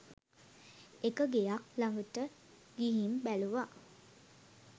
එක ගෙයක් ලඟට ගිහින් බැලුවම